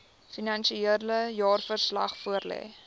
finansiële jaarverslag voorlê